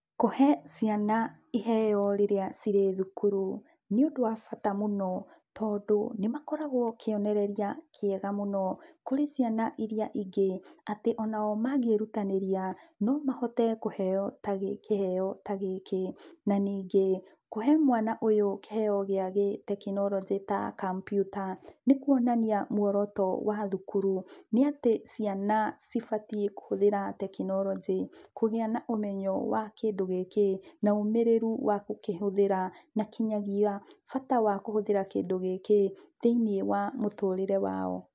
Kũhe ciana iheo rĩrĩa cirĩ thukuru nĩ ũndũ wa bata mũno. Tondũ nĩ makoragwo kĩonereria kiega mũno kũrĩ ciana irĩa ingĩ, atĩ o nao mangĩrutaneria no mahote kũheo kiheo ta gĩkĩ. Na ningĩ, kũhe mwana ũyũ kiheo gia gĩtekinonjĩ ta kambiuta nĩ kũonania mũoroto wa thukuru nĩ atĩ, ciana ci batie kũhũthĩra gĩtekinonjĩ kũgĩa na ũmenyo wa kĩndũ gĩkĩ na ũmĩrĩru wa gũkĩhũthĩra na kĩnyagia bata wa kũhũthĩra kindũ gĩkĩĩ thĩinie wa mũtũrĩre wao.